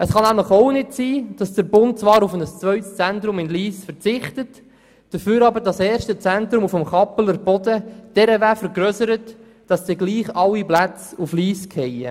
Es kann auch nicht sein, dass der Bund zwar auf ein zweites Zentrum in Lyss verzichtet, dafür aber das erste Zentrum auf dem Kappelerboden derart vergrössert, dass dann trotzdem alle Plätze auf Lyss fallen.